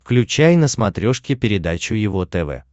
включай на смотрешке передачу его тв